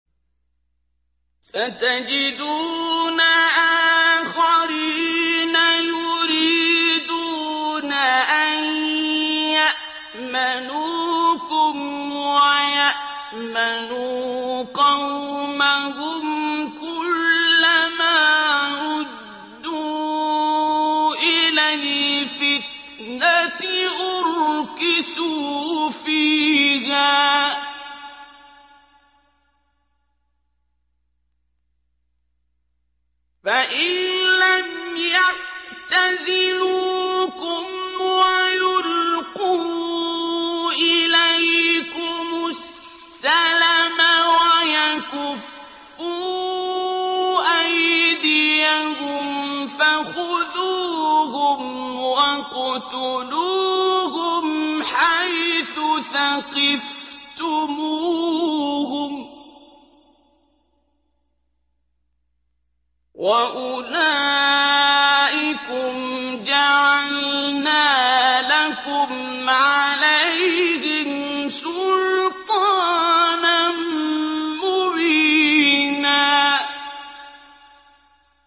سَتَجِدُونَ آخَرِينَ يُرِيدُونَ أَن يَأْمَنُوكُمْ وَيَأْمَنُوا قَوْمَهُمْ كُلَّ مَا رُدُّوا إِلَى الْفِتْنَةِ أُرْكِسُوا فِيهَا ۚ فَإِن لَّمْ يَعْتَزِلُوكُمْ وَيُلْقُوا إِلَيْكُمُ السَّلَمَ وَيَكُفُّوا أَيْدِيَهُمْ فَخُذُوهُمْ وَاقْتُلُوهُمْ حَيْثُ ثَقِفْتُمُوهُمْ ۚ وَأُولَٰئِكُمْ جَعَلْنَا لَكُمْ عَلَيْهِمْ سُلْطَانًا مُّبِينًا